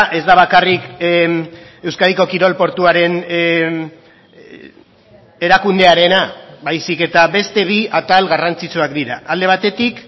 ez da bakarrik euskadiko kirol portuaren erakundearena baizik eta beste bi atal garrantzitsuak dira alde batetik